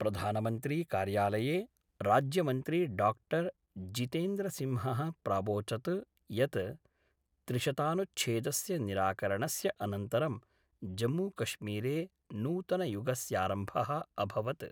प्रधानमंत्री कार्यालये राज्यमंत्री डाक्टर् जितेन्द्रसिंहः प्रावोचत् यत् त्रिशतानुच्छेदस्य निराकरणस्य अनन्तरं जम्मूकश्मीरे नूतनयुगस्यारम्भः अभवत्।